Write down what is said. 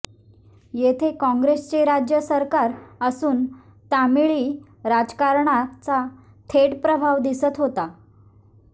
येथे काँग्रेसचे राज्य सरकार असून तामिळी राजकारणाचा थेट प्रभाव दिसत होता